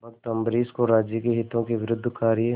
भक्त अम्बरीश को राज्य के हितों के विरुद्ध कार्य